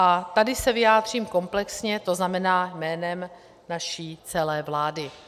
A tady se vyjádřím komplexně, to znamená jménem naší celé vlády.